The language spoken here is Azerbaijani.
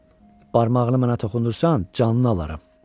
Barmağını mənə toxundursan, canını alaram.